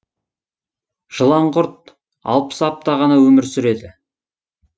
жыланқұрт алпыс апта ғана өмір сүреді